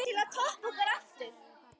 Er þetta þá hjartað sem er að angra hana?